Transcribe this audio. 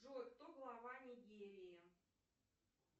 джой кто глава нигерии